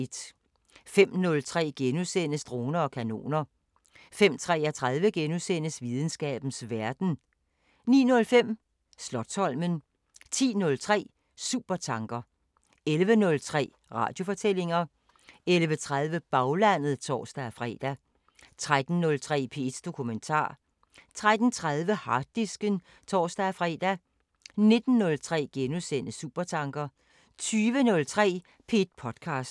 05:03: Droner og kanoner * 05:33: Videnskabens Verden * 09:05: Slotsholmen 10:03: Supertanker 11:03: Radiofortællinger 11:30: Baglandet (tor-fre) 13:03: P1 Dokumentar 13:30: Harddisken (tor-fre) 19:03: Supertanker * 20:03: P1 podcaster